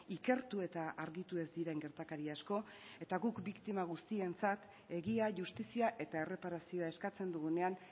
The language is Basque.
ikertu eta argitu ez diren gertakari asko eta guk biktima guztientzat egia justizia eta erreparazioa eskatzen dugunean